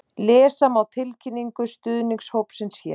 Lesa má tilkynningu stuðningshópsins hér